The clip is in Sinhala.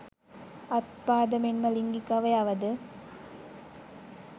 අත් පාද මෙන්ම ලිංගික අවයවද